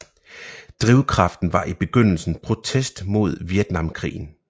Drivkraften var i begyndelsen protest mod Vietnamkrigen